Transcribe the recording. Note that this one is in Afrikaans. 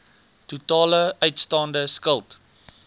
totale uitstaande skuld